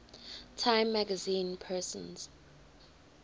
time magazine persons